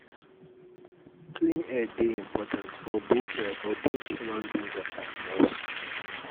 clean air dey important for both for both human being and animals.